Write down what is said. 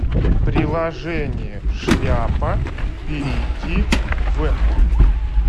приложение шляпа перейди в